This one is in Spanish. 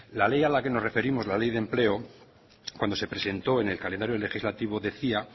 la ley a la que nos referimos la ley de empleo cuando se presentó en el calendario legislativo decía